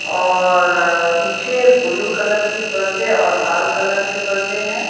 और पीछे blue colour की परदे और लाल कलर के पर्दे हैं।